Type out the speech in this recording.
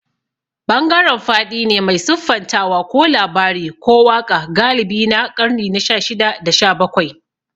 Bangaren faɗi ne mai siffantawa ko labari ko waƙa galibi na ƙarni na shashida da shabakwai.